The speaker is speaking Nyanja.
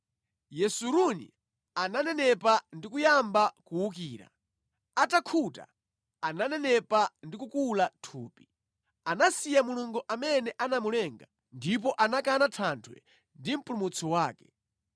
Yesuruni ananenepa ndi kuyamba kuwukira; atakhuta, ananenepa ndi kukula thupi. Anasiya Mulungu amene anamulenga ndipo anakana Thanthwe ndi Mpulumutsi wake.